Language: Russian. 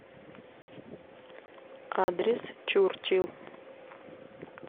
адрес чурчил